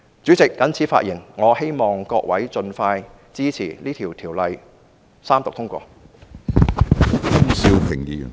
主席，我謹此陳辭，我希望各位盡快支持《條例草案》三讀通過。